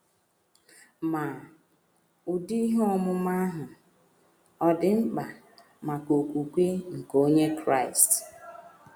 Ma, ụdị ihe ọmụma ahụ ọ̀ dị mkpa maka okwukwe nke Onye Kraịst?